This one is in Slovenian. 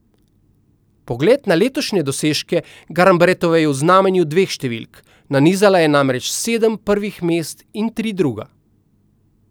Pogled na letošnje dosežke Garnbretove je v znamenju dveh številk, nanizala je namreč sedem prvih mest in tri druga.